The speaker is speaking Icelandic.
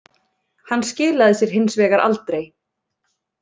Hann skilaði sér hins vegar aldrei